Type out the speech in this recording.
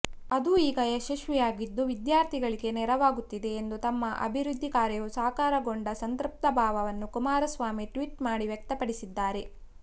ಅದು ಈಗ ಯಶಸ್ವಿಯಾಗಿದ್ದು ವಿದ್ಯಾರ್ಥಿಗಳಿಗೆ ನೆರವಾಗುತ್ತಿದೆ ಎಂದು ತಮ್ಮ ಅಭಿವೃದ್ಧಿ ಕಾರ್ಯವು ಸಾಕಾರಗೊಂಡ ಸಂತೃಪ್ತಭಾವವನ್ನು ಕುಮಾರಸ್ವಾಮಿ ಟ್ವೀಟ್ ಮಾಡಿ ವ್ಯಕ್ತಪಡಿಸಿದ್ದಾರೆ